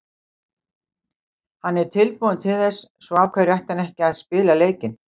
Hann er tilbúinn til þess, svo af hverju ætti hann ekki að spila leikinn?